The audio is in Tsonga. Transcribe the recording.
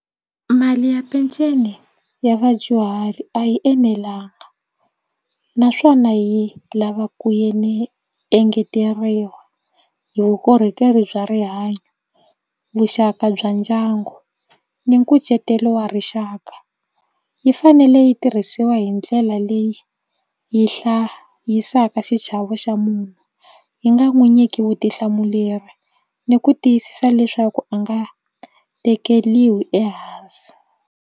Mali ya peceni ya vadyuhari a yi enelanga naswona yi lava ku engeteriwa hi vukorhokeri bya rihanyo vuxaka bya ndyangu ni nkucetelo wa rixaka yi fanele yi tirhisiwa hi ndlela leyi yi hlayisaka xichavo xa munhu yi nga n'wi nyiki vutihlamuleri ni ku tiyisisa leswaku a nga tekeriwi ehansi.